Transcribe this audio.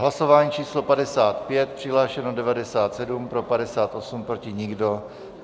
Hlasování číslo 55, přihlášeno 97, pro 58, proti nikdo.